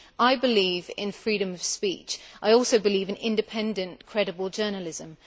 I believe in freedom of speech. I also believe in independent credible journalism.